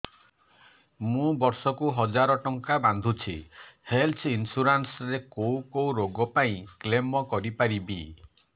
ମୁଁ ବର୍ଷ କୁ ହଜାର ଟଙ୍କା ବାନ୍ଧୁଛି ହେଲ୍ଥ ଇନ୍ସୁରାନ୍ସ ରେ କୋଉ କୋଉ ରୋଗ ପାଇଁ କ୍ଳେମ କରିପାରିବି